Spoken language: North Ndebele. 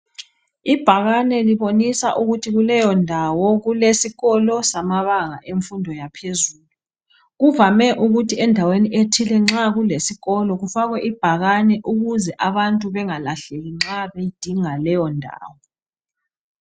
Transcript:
Ibhakane libonisa ukuthi kuleyondawo kulesisikolo samabanga emfundo yaphezulu , kuvame ukuthi endaweni ethile nxa kulesisikolo kufakwe ibhakane ukuze abantu bengalahleki nxa bedinga leyondawo